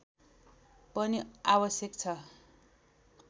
पनि आवश्यक छ